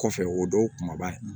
Kɔfɛ o dɔw kumaba in